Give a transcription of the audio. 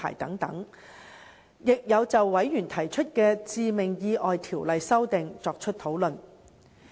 事務委員會亦曾就委員提出的《致命意外條例》修訂作出討論。